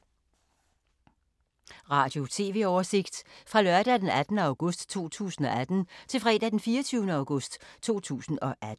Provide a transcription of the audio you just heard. Radio/TV oversigt fra lørdag d. 18. august 2018 til fredag d. 24. august 2018